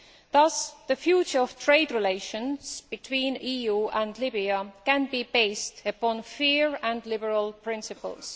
Thus, the future of trade relations between the EU and Libya can be based upon fair and liberal principles.